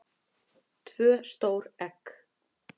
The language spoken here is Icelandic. tvö stór egg